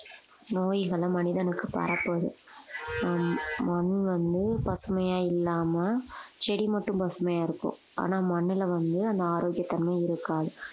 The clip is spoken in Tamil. நோய்களை மனிதனுக்கு பரப்புது ஆஹ் மண் வந்து பசுமையா இல்லாமல் செடி மட்டும் பசுமையா இருக்கும் ஆனா மண்ணுல வந்து அந்த ஆரோக்கியத்தன்மை இருக்காது